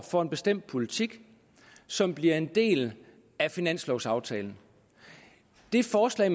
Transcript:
for en bestemt politik som bliver en del af finanslovaftalen det forslag